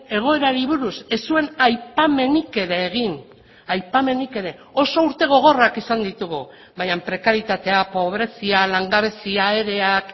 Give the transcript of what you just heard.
egoerari buruz ez zuen aipamenik ere egin aipamenik ere oso urte gogorrak izan ditugu baina prekarietatea pobrezia langabezia ereak